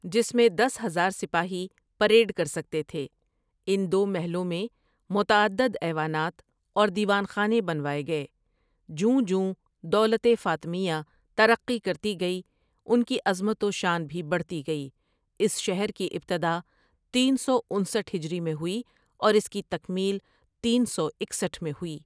جس میں دس ہزار سپاہی پریڈ کرسکتے تھے ان دو محلوں میں معتدد ایونات اور دیوان خانے بنوائے گئے جوں جوں دولت فاطمیہ ترقی کرتی گئی ان کی عظمت و شان بھی بڑھتی گئی اس شہر کی ابتدا تین سو انسٹھ ہجری میں ہوئی اور اس کی تکمیل تین سو اکسٹھ میں ہوئی ۔